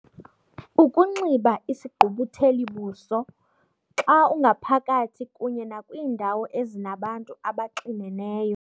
Ukunxiba isigqubutheli-buso xa ungaphakathi kunye nakwiindawo ezinabantu abaxineneyo.